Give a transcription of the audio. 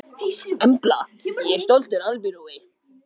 Veri hún sæl.